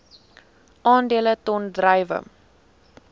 aandele ton druiwe